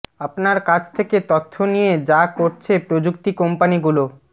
আপনার কাছ থেকে তথ্য নিয়ে যা করছে প্রযুক্তি কোম্পানিগুলো